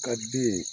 Ka den